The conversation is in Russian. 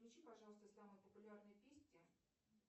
включи пожалуйста самые популярные песни